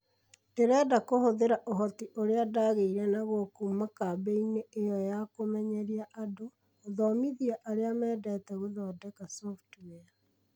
Ndĩrenda kũhũthĩra ũhoti ũrĩa ndaagĩire naguo kuuma kambĩinĩ ĩyo ya kũmenyeria andũ, gũthomithia arĩa mendete gũthondeka software.